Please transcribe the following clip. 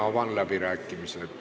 Avan läbirääkimised.